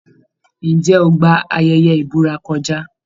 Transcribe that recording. Ǹjẹ́ o gba ayẹyẹ ìbúra kọjá?